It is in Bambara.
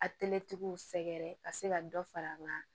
A w sɛgɛrɛ ka se ka dɔ far'a kan